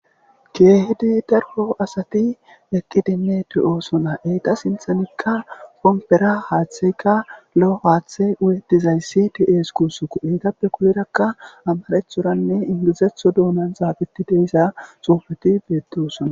Keehidi dargo asati ekidinne de'osona eyta sinthanikka kompera haaththeykka lo'o haaththey wuyetizayssi ties kusuku eytappe kuyerakka amarethoranne ingizetho dounan xaabeti deyssa sofeti beettosona.